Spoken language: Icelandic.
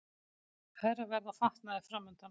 Hærra verð á fatnaði framundan